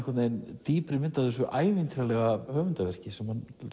dýpri mynd af þessu ævintýralega höfundarverki sem hann